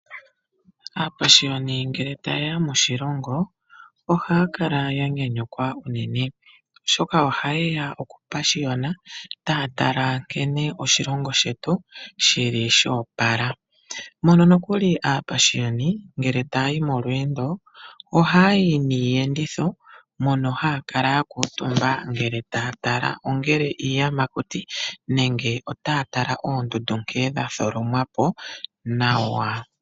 Aapashiyoni ngele taye ya moshilongo ohaya kala ya nyanyukwa unene oshoka ohaye ya okupashiyona taya tala nkene oshilongo shetu shi li sho opala, mono nokuli aapashiyoni ngele taya yi molweendo ohaya yi niiyenditho mono haya kala ya kuutumba ngele taya tala ongele iiyamakuti nenge otaya tala oondundu nkene dhatholomwa po nawa.